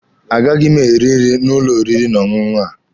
A gaghị m eri nri n'ụlọ oriri na ọṅụṅụ a.